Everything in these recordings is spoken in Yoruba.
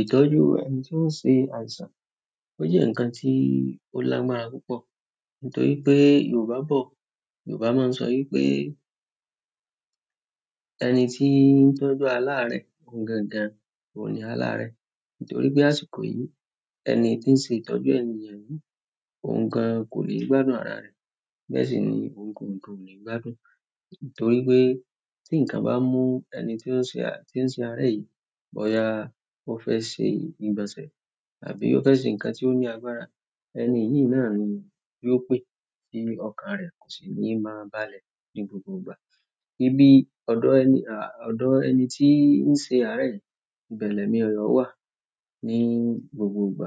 Ìtọ́jú ẹni tí ó ń ṣe àìsàn, ó jẹ́ ǹkan tí ó lágbára púpọ̀ nítorí pé Yorùbá bọ̀. Yorùbá máa ń sọ wípé ẹni tí ń tọ́jú aláàrẹ̀ ohun gangan, ohun ní aláàrẹ̀. Nítorí pé àsìkò yìí, ẹni tí ń ṣe ìtọ́jú ènìyẹn, ohun gan kò níí gbádùn ara rẹ̀. Bẹ́ẹ̀ sì ni òun gangan kò níí gbádùn. Nítorí pé tí ǹkan bá mú ẹni tí ó ń ṣe à-- tí ń ṣe ará yìí bóyá ó fẹ́ ṣe ìgbọ̀nsẹ̀ tàbí ó fẹ́ ṣe ǹkan tí ó ní agbára, ẹni yìí náà ni yóò pé tí ọkàn rẹ̀ kò sì ní máa balẹ̀ ní gbogbo ìgbà. Níbi ọ̀dọ̀ ẹni, à, ọ̀dọ̀ ẹni tí ń ṣe ará yìí, ìbẹ̀ lẹ̀mí rẹ̀ yóò wà ní gbogbo ìgbà.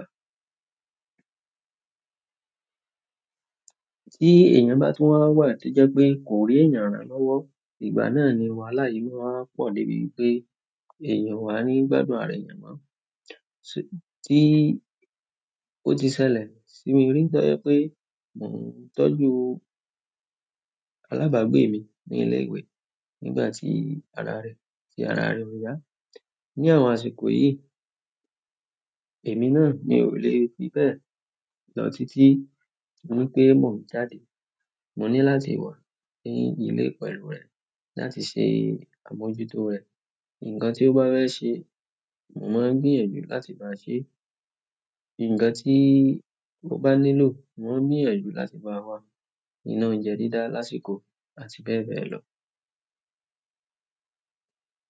Tí èèyàn bá tún wà wà tí ó jẹ́ pé kò rí ẹ̀yàn ràn án lọ́wọ́, ìgbà náà ni wàhálà yìí máa wáá pọ̀ débi pé èèyàn ò wà á ní gbádùn ara èèyàn mọ́. Tí ó ti ṣẹlẹ̀ sí mi rí tó jẹ́ pé mò ń tọ́jú alábàágbé mi ní ilé ìwé nígbà tí ara rẹ̀, tí ara rẹ̀ ò yá. Ní àwọn àsìkò yìí, èmi náà mi ò le fi bẹ́ẹ̀ lọ títí torí wí pé mò ń jáde. Mo ní láti wà ní ìlé pẹ̀lú rẹ̀ láti ṣe àmójútó rẹ̀. Ǹkan tí ó bá fẹ́ ṣe, mo máa ń gbìyànjú láti bá a ṣe é. Ǹkan tí ó bá nílò, mo ń gbìyànjú láti bá a wá. Iná oúnjẹ dídá lásìkò àti bẹ́ẹ̀ bẹ́ẹ̀ lọ.